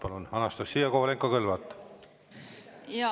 Palun, Anastassia Kovalenko-Kõlvart!